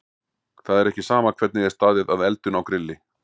Það er ekki sama hvernig er staðið að eldun á grilli.